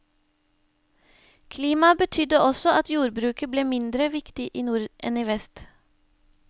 Klimaet betydde også at jordbruket ble mindre viktig i nord enn i vest.